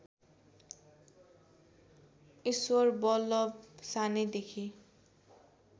ईश्वरबल्लभ सानैदेखि